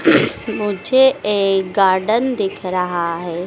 मुझे एक गार्डन दिख रहा है।